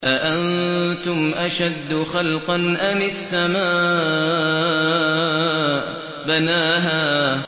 أَأَنتُمْ أَشَدُّ خَلْقًا أَمِ السَّمَاءُ ۚ بَنَاهَا